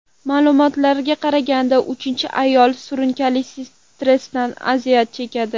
Ma’lumotlarga qaraganda, har uchinchi ayol surunkali stressdan aziyat chekadi.